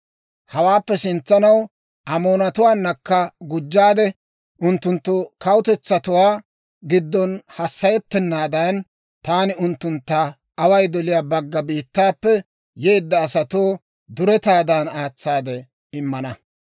Hawaappe sintsanaw Amoonatuwaanakka gujjaade, unttunttu kawutetsatuwaa giddon hassayettennaadan, taani unttuntta away doliyaa bagga biittaappe yeedda asatoo duretaadan aatsaade immana.